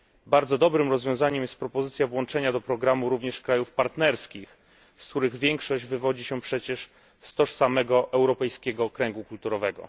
Bardzo dobrym rozwiązaniem jest propozycja włączenia do programu również krajów partnerskich, z których większość wywodzi się przecież z tożsamego europejskiego kręgu kulturowego.